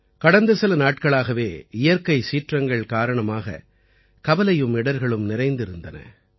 கடந்த சில நாட்களாகவே இயற்கைச் சீற்றங்கள் காரணமாக கவலையும் இடர்களும் நிறைந்திருந்தன